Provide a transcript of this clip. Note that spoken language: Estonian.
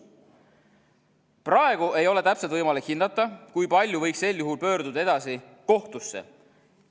Praegu ei ole täpselt võimalik hinnata, kui paljud võiks sel juhul pöörduda edasi kohtusse.